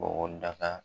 Bɔgɔdaga